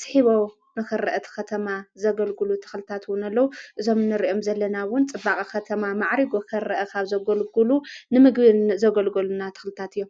ስሒቦም ኽርአቲ ኸተማ ዘገልጕሉ ተኽልታትውን ኣለዉ፣ እዞም ንርኦም ዘለናውን ጽባቐ ኸተማ መዕሪጎ ኸርአኻብ ዘጐልጕሉ ንምግብን ዘገልገሉና ትኽልታት እዮም